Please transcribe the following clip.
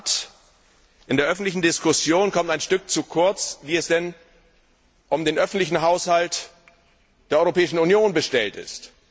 In der Tat In der öffentlichen Diskussion kommt ein Stück zu kurz, wie es denn um den öffentlichen Haushalt der Europäischen Union bestellt ist.